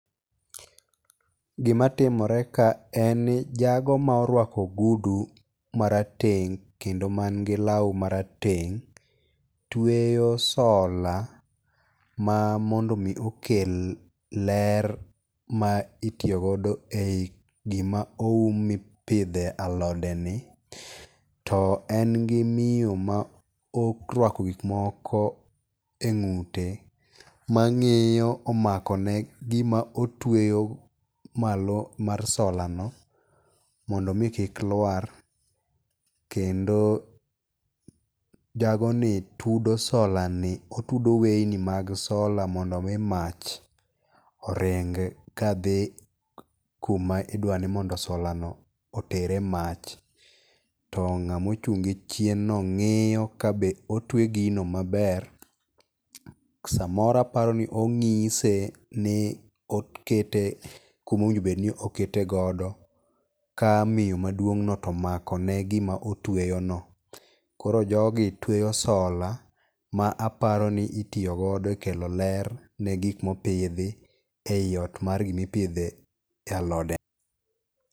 Gima timore ka en ni jago ma orwako ogudu ma rateng' kendo man gi law ma rateng' tweyo solar ma mondo mi okel ler ma itiyo godo ei gima oum mipidhe alode ni. To en gi miyo ma orwako gik moko e ng'ute, ma ng'iyo omako ne gima otweyo malo mar solar no, mondo mi kik lwar. Kendo jago ni tudo solar ni, otudo weyni mag solar mondo mi mach oring ka dhi kuma idwa ni mondo solar no otere mach. To ng'ama ochung' gi chien no ng'iyo ka be otwe gino maber. Samoro aparo ni ong'ise ni okete kuma owinjo obed ni okete godo, ka miyo maduong' no tomako ne gima otweyo no. Koro jogi tweyo solar ma aparo ni itoyo godo e kelo ler ne gik mopidhi ei ot mar gimipidhe alode.